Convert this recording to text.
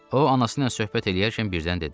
O anası ilə söhbət eləyərkən birdən də dedi: